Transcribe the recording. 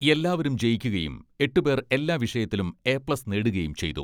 എല്ലാവരും ജയിക്കുകയും എട്ട് പേർ എല്ലാ വിഷയത്തിലും എ പ്ലസ് നേടുകയും ചെയ്തു.